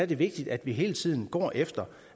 det vigtigt at vi hele tiden går efter